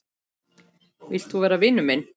Vilt þú vera vinur minn?